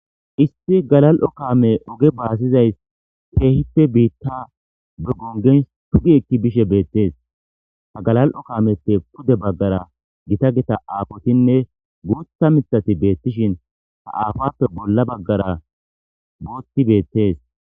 isti galal7o kaame oge baasizays keehippe biitta be gongen tugi ekki bishe beettees ta galal7o kaameppe pude baggara gita gita aafotinne guutha mithati beettishin ta aafappe bolla baggara booti beettees.